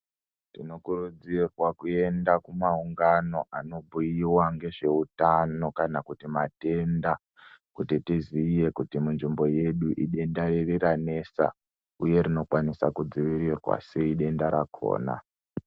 Tinokurudzirwa kuenda kumaungano anobhuiwa ngezveutano kana kuti matenda kuti tiziye kuti munzvimbo yedu idenda riri ranesa uye rinokwanisa kudzivirirwa sei denda rakona .